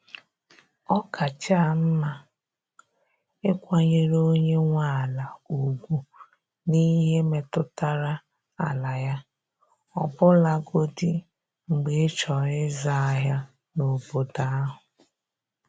Ọ kacha mma ịkwanyere onye nwe ala ugwu n’ihe metụtara ala ya, ọbụlagodi mgbe ịchọrọ izu ahịa n’obodo ahụ.